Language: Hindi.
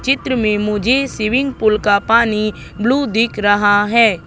चित्र में मुझे स्विमिंग पूल का पानी ब्लू दिख रहा है।